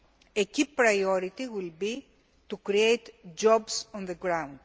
A key priority will be to create jobs on the ground.